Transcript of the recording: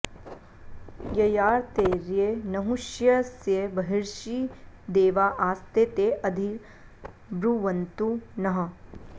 य॒याते॒र्ये न॑हु॒ष्य॑स्य ब॒र्हिषि॑ दे॒वा आस॑ते॒ ते अधि॑ ब्रुवन्तु नः